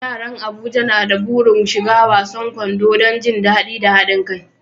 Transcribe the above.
Yaran Abuja na da burin shiga wasan kwando don jin daɗi da haɗin kai.